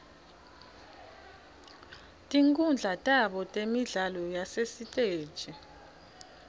tinkhundla tabo temidlalo yasesitej